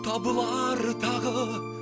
табылар тағы